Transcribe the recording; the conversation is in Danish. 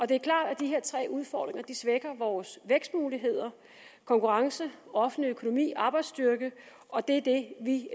det er klart at de her tre udfordringer svækker vores vækstmuligheder konkurrence offentlig økonomi arbejdsstyrke og det er det vi